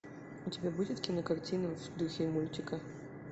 у тебя будет кинокартина в духе мультика